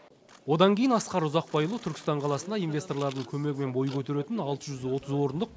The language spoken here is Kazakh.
одан кейін асқар ұзақбайұлы түркістан қаласында инвесторлардың көмегімен бой көтеретін алты жүз отыз орындық